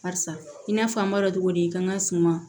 Barisa i n'a fɔ an b'a dɔn cogo di kan ka suma